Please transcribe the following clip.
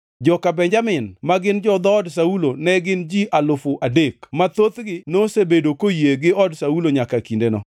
joka Benjamin, ma gin jo-dhoodgi Saulo ne gin ji alufu adek (3,000) ma thothgi nosebedo koyie gi od Saulo nyaka kindeno;